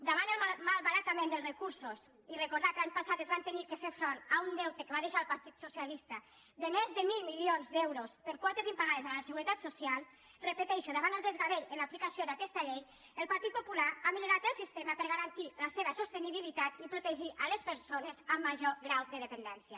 davant el malbaratament dels recursos i recordar que l’any passat es va haver de fer front a un deute que va deixar el partit socialista de més de mil milions d’euros per quotes impagades a la seguretat social ho repeteixo davant el desgavell en l’aplicació d’aquesta llei el partit popular ha millorat el sistema per a garantir la seva sostenibilitat i protegir les persones amb major grau de dependència